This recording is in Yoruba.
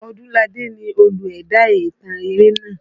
Ọdúnládé ni olú ẹ̀dá ìtàn eré naa.